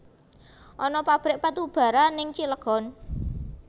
Ana pabrik batubara ning Cilegon